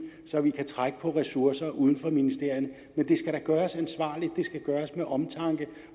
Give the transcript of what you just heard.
så vi kan trække på ressourcer uden for ministerierne men det skal da gøres ansvarligt det skal gøres med omtanke